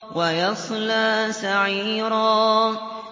وَيَصْلَىٰ سَعِيرًا